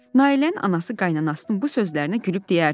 Nailənin anası qaynanansının bu sözlərinə gülüb deyərdi: